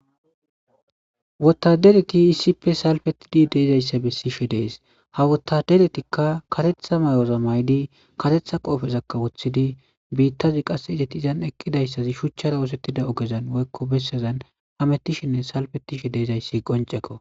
Wotadereti isippe salfetidi deezayssa bessishe dees ha wotaderetikka katetha may7ora maydi katetha qoofezakka woththidi biittazi qasse izetizan eqqidayssazi shuchchara oosettida ogezan woykko bessazan hamettishinne salfetishe deezayssi qoncekko.